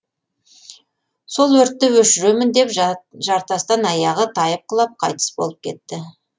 сол өртті өшіремін деп жартастан аяғы тайып құлап қайтыс болып кетті